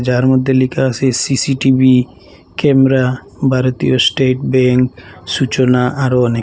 যার মধ্যে লিখা আসে সি_সি_টি_ভি ক্যামরা ভারতীয় স্টেট বেঙ্ক সূচনা আরো অনেক--